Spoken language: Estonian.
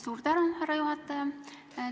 Suur tänu, härra juhataja!